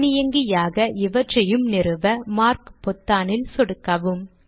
தானியங்கியாக இவற்றையும் நிறுவ மார்க் பொத்தானில் சொடுக்கவும்